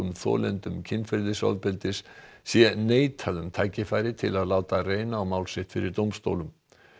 þolendum kynferðisofbeldis sé neitað um tækifæri til að láta reyna á mál sitt fyrir dómstólum